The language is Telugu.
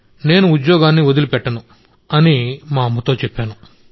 నేను ఉద్యోగాన్ని వదిలిపెట్టను అని మా అమ్మతో చెప్పాను